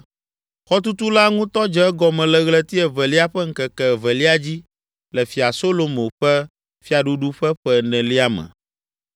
Xɔtutu la ŋutɔ dze egɔme le ɣleti evelia ƒe ŋkeke evelia dzi le Fia Solomo ƒe fiaɖuɖu ƒe ƒe enelia me.